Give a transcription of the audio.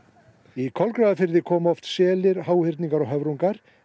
í Kolgrafafirði koma oft selir háhyrningar og höfrungar